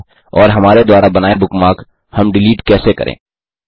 और हमारे द्वारा बनाए बुकमार्क हम डिलीट कैसे करें